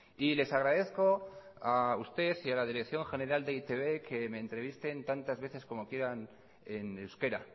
y les agradezco a usted y a la dirección general de e i te be que me entrevisten tantas veces como quieran en euskera